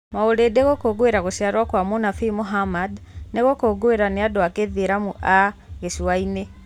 Maulidi, gũkũngũĩra gũciarwo kwa Mũnabii Muhammad, nĩ gũkũngũagĩrũo nĩ andũ a Gĩithĩramu a gĩcũa-inĩ.